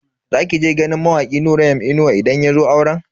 Za ki je ganin mawaki Nura M inuwa idan yazo auren?